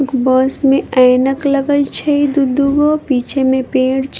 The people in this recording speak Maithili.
बस मे ऐनक लागल छै दू दूगो पीछे मे पेड़ छे --